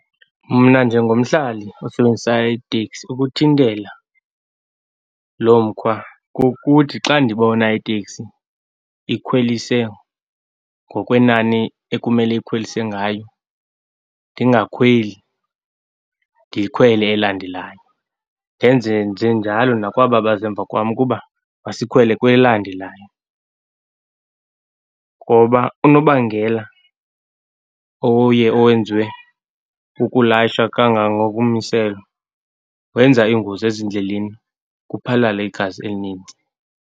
Mna njengomhlali osebenzisa iitekisi, ukuthintela loo mkhwa kukuthi xa ndibona iteksi ikhwelise ngokwenani ekumele ikhwelise ngalo, ndingakhweli, ndikhwele elandelayo. Ndenzenjenjalo nakwaba baze mva kwam ukuba masikhwele kwelandelayo. Ngoba unobangela oye owenzwe kukulayisha kangangokommiselo wenza iingozi ezindleleni, kuphalale igazi elinintsi.